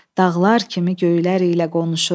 Dağlar kimi göylər ilə qonuşur.